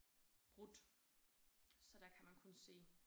Brudt så der kan man kun se